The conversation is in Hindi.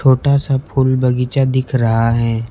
छोटा सा फूल बगीचा दिख रहा है।